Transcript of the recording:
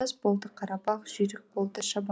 болды қара бақ жүйрік болды шабан